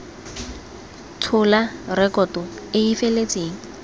tshola rekoto e e feletseng